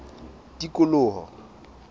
tikoloho